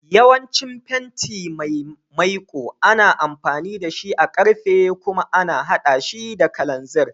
Yawancin fenti mai maiƙu ana amfani da shi a karfe kuma ana haɗa shi da kalanziri.